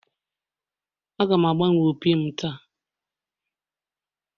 Aga m agbanwe opi m taa